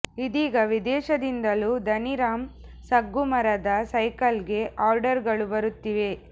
ಇದೀಗ ವಿದೇಶದಿಂದಲೂ ಧನಿ ರಾಮ್ ಸಗ್ಗು ಮರದ ಸೈಕಲ್ಗೆ ಆರ್ಡರ್ಗಳು ಬರುತ್ತಿವೆ